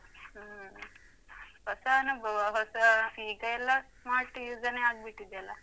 ಹ್ಮ್. ಹೊಸ ಅನುಭವ ಹೊಸ ಈಗ ಎಲ್ಲ smart use ಏನೇ ಆಗ್ಬಿಟ್ಟಿದ್ಯಲ್ಲ?